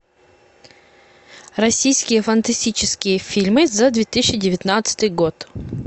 российские фантастические фильмы за две тысячи девятнадцатый год